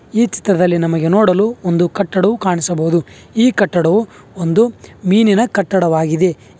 ಈ ಚಿತ್ರದಲ್ಲಿ ನಮಗೆ ನೋಡಲು ಒಂದು ಕಟ್ಟಡವು ಕಾಣಿಸಬಹುದು ಈ ಕಟ್ಟಡವು ಒಂದು ಮೀನಿನ ಕಟ್ಟಡವಾಗಿದೆ ಈ--